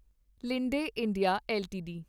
Linde India LTD